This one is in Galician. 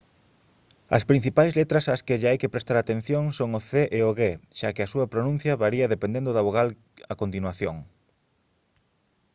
as principais letras ás que lle hai que prestar atención son o c e o g xa que a súa pronuncia varía dependendo da vogal a continuación